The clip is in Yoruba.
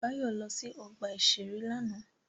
Báyọ̀ lọ sí ọgbà-ìṣeré lánàá